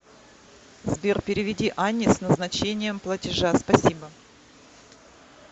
сбер переведи анне с назначением платежа спасибо